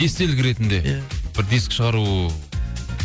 естелік ретінде иә бір дискі шығару